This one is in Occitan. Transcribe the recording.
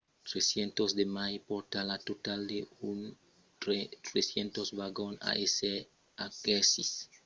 300 de mai pòrta lo total a 1 300 vagons a èsser aquesits per aleugerir las subrecargas de gents